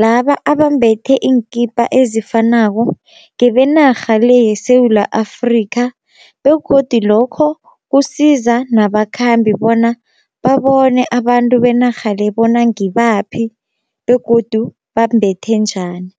laba abambethe iinkipa ezifanako ngebenarha le yeSewula Afrika, begodi lokho kusiza nabakhambi bona babone abantu benarha le bona ngibaphi begodu bambethe njani.